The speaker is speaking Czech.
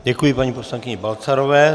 Děkuji paní poslankyni Balcarové.